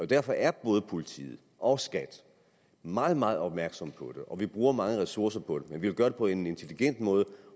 derfor er både politiet og skat meget meget opmærksomme på det og vi bruger mange ressourcer på det men vi vil gøre det på en intelligent måde